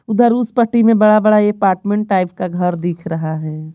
उधर उस पट्टी में बड़ा-बड़ा अपार्टमेंट टाइप का घर दिख रहा है।